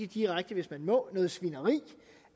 direkte hvis man må at noget svineri